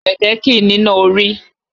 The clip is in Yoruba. Kẹ̀kẹ́ kìí níná orí.